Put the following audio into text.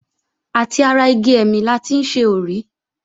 Àti ara igi ẹ̀mì la ti ń ṣe òrí.